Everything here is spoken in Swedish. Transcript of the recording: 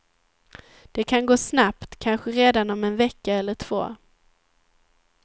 Det kan gå snabbt, kanske redan om en vecka eller två.